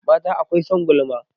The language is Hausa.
Mata akwai son gulma